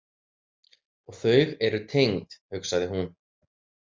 Og þau eru tengd, hugsaði hún.